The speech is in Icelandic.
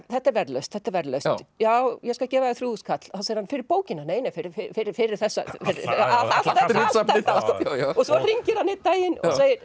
þetta er verðlaust þetta er verðlaust já ég skal gefa þér þrjú þúsund kall fyrir bókina nei fyrir fyrir fyrir allt þetta svo hringir hann einn daginn